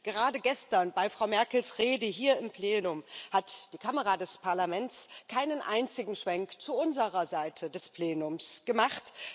Gerade gestern, bei Frau Merkels Rede hier im Plenum, hat die Kamera des Parlaments keinen einzigen Schwenk zu unserer Seite des Plenums gemacht.